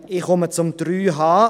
Ich komme zu 3h.